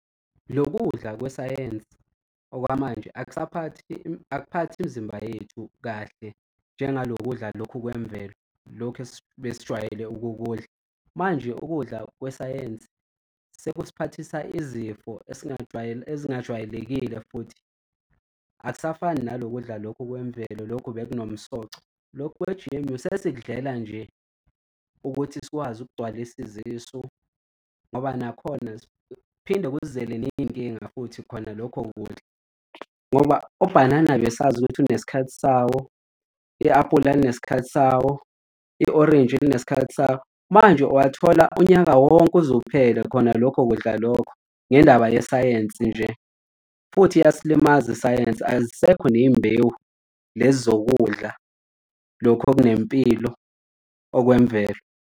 Lo kudla kwesayensi okwamanje akasaphathi akuphathi imizimba yethu kahle njengalo kudla lokhu kwemvelo lokhu ebesijwayele ukukudla, manje ukudla kwesayensi sekusiphathisa izifo ezingajwayelekile futhi, akusafani nalo kudla lokhu kwemvelo lokhu bekunomsoco. Lokhu kwe-G_M_O sesikudedela nje ukuthi sikwazi ukugcwalisa izisu ngoba nakhona kuphinde kusizele ney'nkinga futhi khona lokho kudla ngoba obhanana besazi ukuthi unesikhathi sawo, i-aphula linesikhathi sawo, i-orintshi linesikhathi sawo. Manje uwathola unyaka wonke uze uphele khona lokho kudla lokho ngendaba yesayensi nje. Futhi iyasilimaza isayensi, azisekho ney'mbewu lezi zokudla lokho okunempilo okwemvelo.